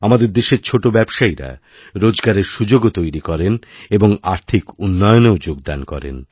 আমাদের দেশেরছোটো ব্যবসায়ীরা রোজগারের সুযোগও তৈরি করেন এবং আর্থিক উন্নয়নেও যোগদান করেন